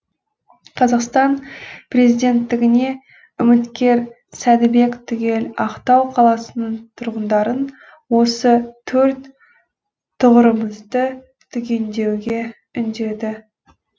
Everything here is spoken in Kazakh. қазақстан президенттігіне үміткер сәдібек түгел ақтау қаласының тұрғындарын осы төрт тұғырымызды түгендеуге үндеді